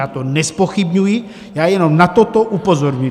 Já to nezpochybňuji, já jenom na toto upozorňuji.